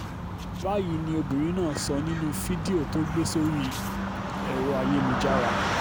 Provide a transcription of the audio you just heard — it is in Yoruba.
báyìí ni obìnrin náà sọ nínú fídíò tó gbé sórí ẹ̀rọ ayélujára